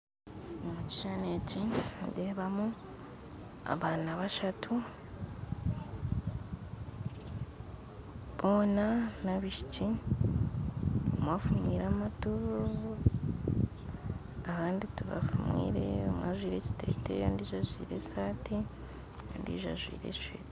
Omu kishushani eki nindeebamu abaana bashatu boona n'abaishiki omwe afumwire amatu abandi tibafumwire ondi ajwaire ekiteteyi ondijo ajwaire esaati ondijo ajwaire eshweta